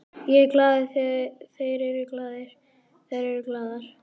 Ég er glaður, þeir eru glaðir, þær eru glaðar.